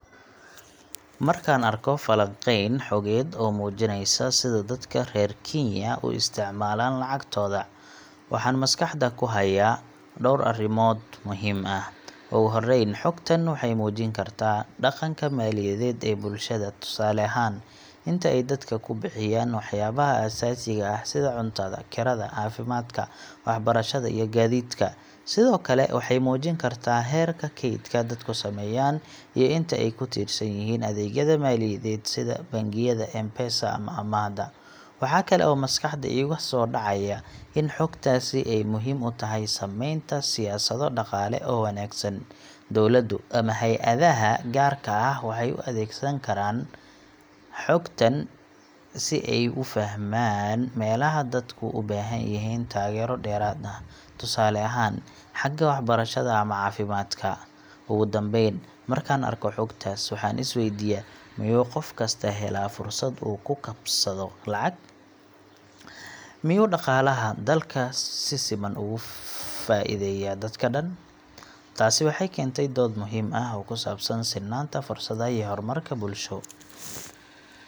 Markaan arko falanqeyn xogeed oo muujinaysa sida dadka reer Kenya u isticmaalaan lacagtooda, waxaan maskaxda ku hayaa dhowr arrimood muhiim ah. Ugu horreyn, xogtan waxay muujin kartaa dhaqanka maaliyadeed ee bulshada tusaale ahaan, inta ay dadka ku bixiyaan waxyaabaha aasaasiga ah sida cuntada, kirada, caafimaadka, waxbarashada, iyo gaadiidka. Sidoo kale waxay muujin kartaa heerka keydka dadku sameeyaan iyo inta ay ku tiirsan yihiin adeegyada maaliyadeed sida bangiyada, M-Pesa, ama amaahda. Waxaa kale oo maskaxda iiga soo dhacaya in xogtaasi ay muhiim u tahay sameynta siyaasado dhaqaale oo wanaagsan. Dawladdu ama hay’adaha gaarka ah waxay u adeegsan karaan xogtan si ay u fahmaan meelaha dadku u baahan yihiin taageero dheeraad ah, tusaale ahaan xagga waxbarashada ama caafimaadka. Ugu dambeyn, markaan arko xogtaas, waxaan is weydiiyaa: Miyuu qof kasta helaa fursad uu ku kasbado lacag? Miyuu dhaqaalaha dalka si siman ugu faa’iidayaa dadka dhan? Taasi waxay keentaa dood muhiim ah oo ku saabsan sinnaanta fursadaha iyo horumarka bulsho.